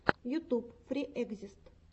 ютюб сри экзист